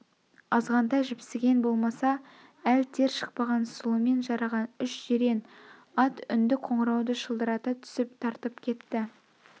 азғантай жіпсіген болмаса әл тер шықпаған сұлымен жараған үш жирен ат үнді қоңырауды шылдырата түсіп тартып кетті